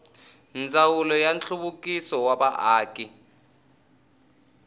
ndzawulo ya nhluvukiso wa vaaki